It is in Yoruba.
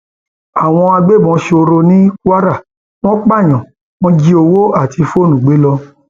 àwọn agbébọn sọrọ ní kwara wọn pààyàn wọn jí owó àti fóònù gbé lọ